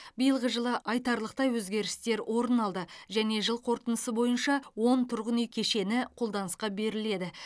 биылғы жылы айтарлықтай өзгерістер орын алды және жыл қорытындысы бойынша он тұрғын үй кешені қолданысқа беріледі